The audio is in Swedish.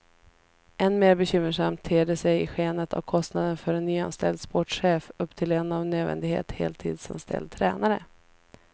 Än mer bekymmersamt ter det sig i skenet av kostnaden för en nyanställd sportchef upptill en av nödvändighet heltidsanställd tränare.